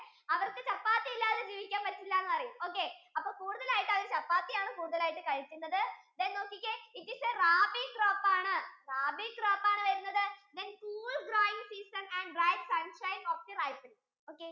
അവർക്കു chappathi ഇല്ലാതെ ജീവിക്കാൻ പറ്റില്ല എന്ന് പറയും okay അപ്പൊ കൂടുതൽ ആയിട്ടു chappathi ആണ് കൂടുതൽ ആയിട്ടു കഴിക്കുന്നത് then നോക്കിക്കേ it is rabi crop ആണ് rabi crop ആണ് വരുന്നത് then cool dry season and dry season